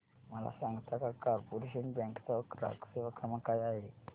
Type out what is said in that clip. मला सांगता का कॉर्पोरेशन बँक चा ग्राहक सेवा क्रमांक काय आहे